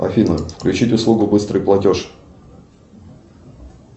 афина включить услугу быстрый платеж